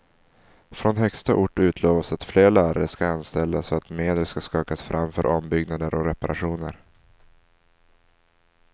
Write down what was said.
Från högsta ort utlovas att fler lärare ska anställas och att medel ska skakas fram för ombyggnader och reparationer.